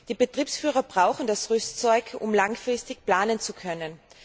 Die Betriebsführer brauchen das Rüstzeug, um langfristig planen zu können.